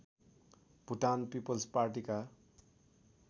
Bhutan people's पार्टीका